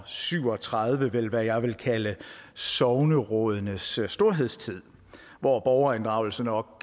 syv og tredive vel hvad jeg vil kalde sognerådenes storhedstid hvor borgerinddragelse nok